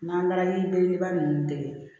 Manki belebeleba ninnu de ye